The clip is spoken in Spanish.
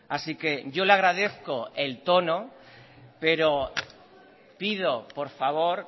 así que yo le agradezco el tono pero pido por favor